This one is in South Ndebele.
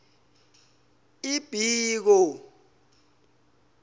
ibiko